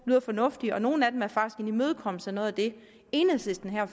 lyder fornuftige og nogle af dem er faktisk en imødekommelse af noget af det enhedslisten her